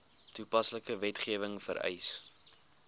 toepaslike wetgewing vereis